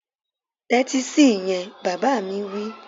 Tẹ́tí sí ìyẹn! Bàbá mi wí